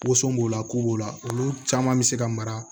Woson b'o la ko b'o la olu caman be se ka mara